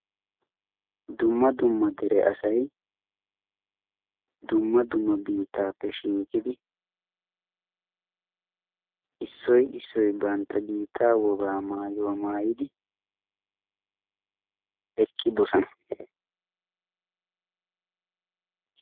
dumma dumma dere asai dumma dumma biittaappe shiiqidi issoi issoi bantta biittaa wogaa maayuwaa maayidi eqqidosana